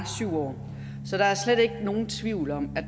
syv år så der er slet ikke nogen tvivl om at